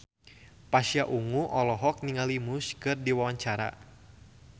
Pasha Ungu olohok ningali Muse keur diwawancara